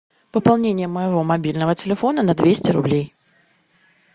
пополнение моему мобильного телефона на двести рублей